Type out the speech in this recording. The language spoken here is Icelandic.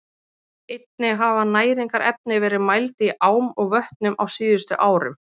Einnig hafa næringarefni verið mæld í ám og vötnum á síðustu árum.